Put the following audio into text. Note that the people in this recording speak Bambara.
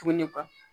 Tuguni ka